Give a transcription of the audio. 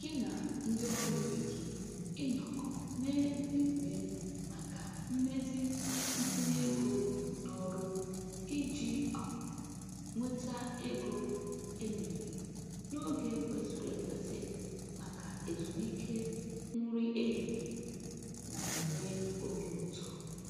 Gị na ndị ọrụ ibe gị ịnọkọ mee mmemme maka mmezi ntinye ego n'ọrụ iji um nweta ego e mere n'oge kwesịrị ekwesị maka ezumike nri ehihie na-enye obi ụtọ.